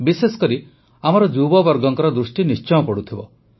ବିଶେଷକରି ଆମ ଯୁବବର୍ଗଙ୍କ ଦୃଷ୍ଟି ନିଶ୍ଚୟ ପଡ଼ିଥିବ